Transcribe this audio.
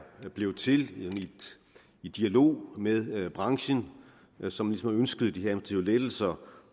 blevet til i dialog med med branchen som ligesom ønskede de her lettelser